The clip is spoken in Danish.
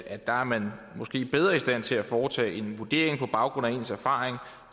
at der er man måske bedre i stand til at foretage en vurdering på baggrund af ens erfaring